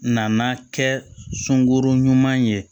Nana kɛ sunguru ɲuman ye